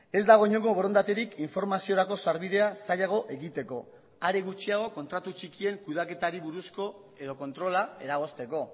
ez dago inongo borondaterik informaziorako sarbidea zailago egiteko are gutxiago kontratu txikien kudeaketari buruzko edo kontrola eragozteko